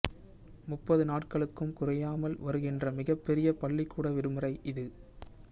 முப்பது நாட்களுக்கும் குறையாமல் வருகின்ற மிகப் பெரிய பள்ளிக்கூட விடுமுறை இது